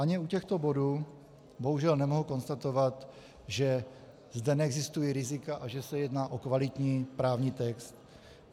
Ani u těchto bodů bohužel nemohu konstatovat, že zde neexistují rizika a že se jedná o kvalitní právní text.